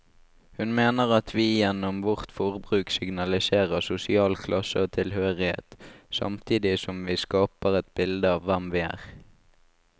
Hun mener at vi gjennom vårt forbruk signaliserer sosial klasse og tilhørighet, samtidig som vi skaper et bilde av hvem vi er.